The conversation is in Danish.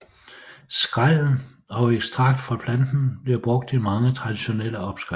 Skrællen og ekstrakt fra planten bliver brugt i mange traditionelle opskrifter